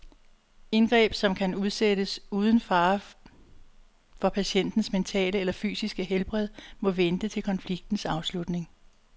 Indgreb, som kan udsættes uden fare for patientens mentale eller fysiske helbred, må vente til konfliktens afslutning.